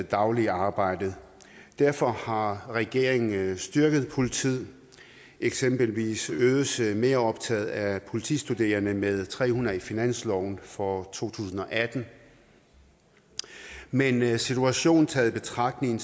daglige arbejde og derfor har regeringen styrket politiet eksempelvis øges meroptaget af politistuderende med tre hundrede i finansloven for to tusind og atten men men situationen taget i betragtning